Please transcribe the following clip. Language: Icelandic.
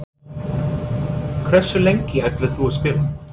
Hversu lengi ætlar þú að spila?